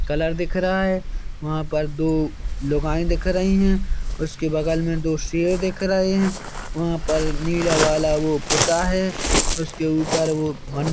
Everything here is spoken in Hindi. कलर दिख रहा है वहा पर दो लुगाई दिख रही है उसके बगल में दो शेर दिख रहे है वहा पर नीला वाला वो पुता है उसके ऊपर वो मन--